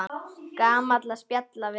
Gaman að spjalla við þig.